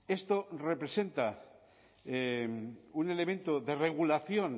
esto representa un elemento de regulación